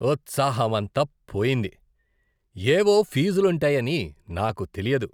ఉత్సాహం అంతా పోయింది. ఏవో ఫీజులుంటాయని నాకు తెలియదు.